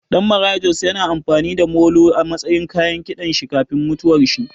Ɗan Maraya Jos ya na amfani da molo a matsayin kayan kiɗan shi kafin mutuwar shi